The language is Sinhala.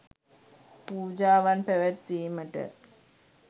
පූජාවන් පැවැත්වීමට